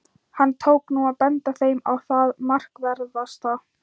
Hann tók nú að benda þeim á það markverðasta.